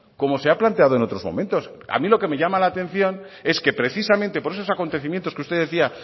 como se ha planteado en otros momentos a mí lo que me llama la atención es que precisamente por esos acontecimientos que usted decía